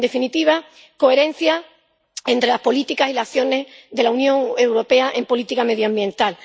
En definitiva, coherencia entre las políticas y las acciones de la Unión Europea en política medioambiental.